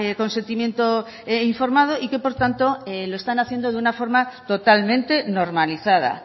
consentimiento informado y que por tanto lo están haciendo de una forma totalmente normalizada